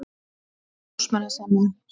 Póstmenn að semja